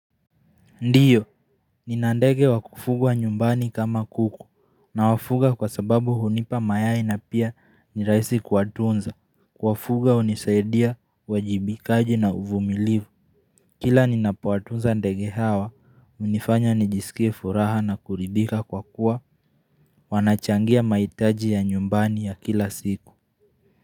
Ndiyo, nina ndege wa kufugwa nyumbani kama kuku, nawafuga kwa sababu hunipa mayai na pia ni rahisi kuatunza, kuwafuga hunisaidia uwajibikaji na uvumilivu Kila ninapowatunza ndege hawa, hunifanya nijisikie furaha na kuridhika kwa kuwa, wanachangia mahitaji ya nyumbani ya kila siku.